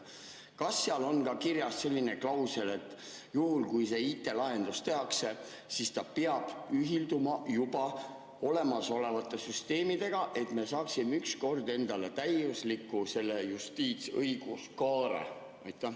Kas seal on ka kirjas selline klausel, et juhul kui see IT‑lahendus tehakse, siis see peab ühilduma juba olemasolevate süsteemidega, et me saaksime ükskord endale selle täiusliku justiitsõiguskaare?